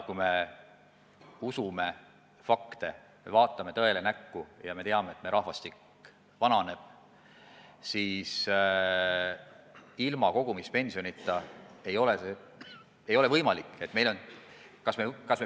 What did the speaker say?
Kui me usume fakte, kui me vaatame tõele näkku ja teame, et meie rahvastik vananeb, siis on selge, et ilma kogumispensionita ei ole võimalik edasi minna.